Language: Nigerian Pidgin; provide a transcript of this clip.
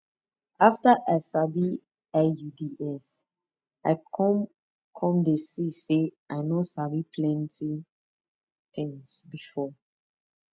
after i sabi iuds i come come dey see say i no sabi plenty tins before